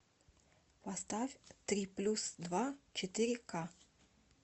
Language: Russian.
поставь три плюс два четыре к